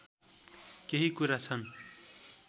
केही कुरा छन्